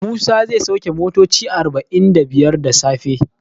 Musa zai sauke motoci arba'in da biyar da safe.